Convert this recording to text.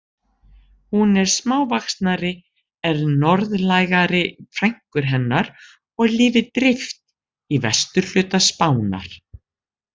Hún er smávaxnari en norðlægari frænkur hennar og lifir dreift í vesturhluta Spánar.